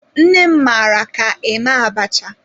Nne m mara ka eme abacha.